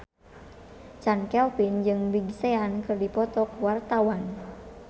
Chand Kelvin jeung Big Sean keur dipoto ku wartawan